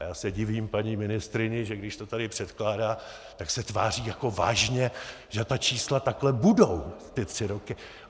A já se divím paní ministryni, že když to tady předkládá, tak se tváří jako vážně, že ta čísla takhle budou ty tři roky.